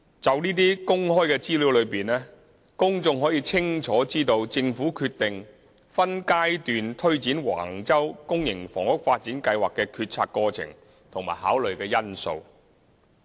從這些公開資料中，公眾可以清楚知道政府決定分階段推展橫洲公營房屋發展計劃的決策過程和考慮因素。